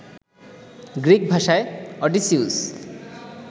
Greek ভাষায় Odysseus